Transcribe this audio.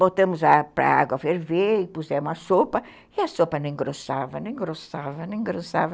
Botamos para a água ferver e pusemos a sopa, e a sopa não engrossava, não engrossava, não engrossava.